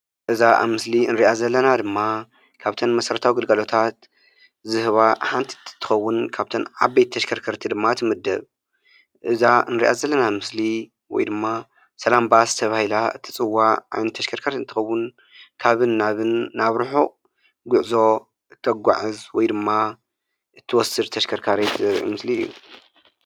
እዛ ኣብ ምስሊ እንሪኣ ዘለና ድማ ካብተን መሰረታዊ ኣገልግሎት ዝህባ ሓንቲ እትትኸውን ካብተን ዓበይቲ ተሽከርከርቲ ድማ ትምደብ። እዛ እንሪኣ ዘለና ምስሊ ወይ ድማ ሰላም ባስ ተባሂላ እትፅዋዕ ዓይነት ተሽከርካሪት እንትትኸውን ካብን ናብን ናብ ርሑቕ ጉዕዞ እተጓዕዝ ወይ ድማ እትወስድ ተሽከርካሪት ምስሊ እዩ።